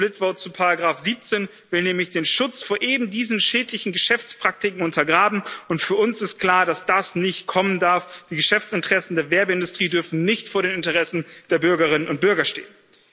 Der split vote zu Ziffer siebzehn will nämlich den Schutz vor eben diesen schädlichen Geschäftspraktiken untergraben und für uns ist klar, dass das nicht kommen darf, die Geschäftsinteressen der Werbeindustrie dürfen nicht vor den Interessen der Bürgerinnen und Bürger stehen.